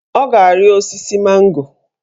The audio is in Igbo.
Ọ ga-ari osisi mango